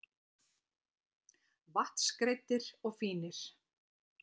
Vatnsgreiddir og fínir.